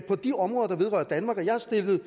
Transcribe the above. på de områder der vedrører danmark og jeg har stillet